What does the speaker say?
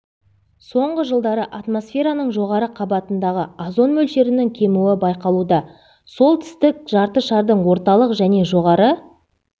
соңғы жылдары атмосфераның жоғары қабатындағы озон мөлшерінің кемуі байқалуда солтүстік жарты шардың орталық және жоғары